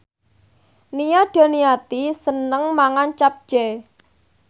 Nia Daniati seneng mangan capcay